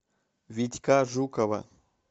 витька жукова